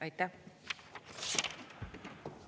Aitäh!